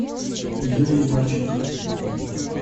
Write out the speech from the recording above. юлии марченко